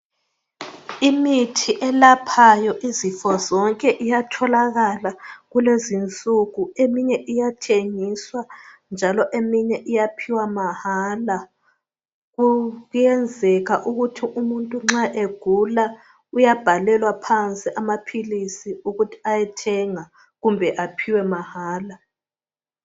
Imithi elaphayo izifo zonke iyatholakala kulezinsuku eminye iyathengiswa njalo eminye iyaphiwa mahala. Ku kuyenzeka ukuthi umuntu nxa egula uyabhalelwa phansi amaphilisi ukuthi ayethenga kumbe aphiwe mahala.